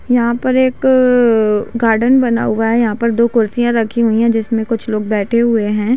यहाँ पर एक गार्डन बना हुआ है यहाँ पर दो कुर्सीया रखी हुई है जिसमे कुछ लोग बैठे हुए है।